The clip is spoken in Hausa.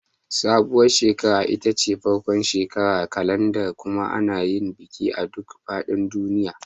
Sabuwar shekara ita ce farkon shekarar kalanda kuma ana yin bikin a duk fadin duniya.